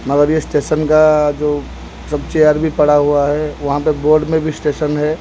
मगर ये स्टेशन का जो सब चेयर भी पड़ा हुआ है वहां पे बोर्ड में भी स्टेशन है।